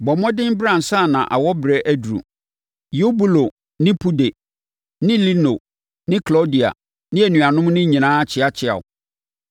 Bɔ mmɔden bra ansa na awɔberɛ aduru. Eubulo ne Pude ne Lino ne Klaudia ne anuanom no nyinaa kyeakyea wo.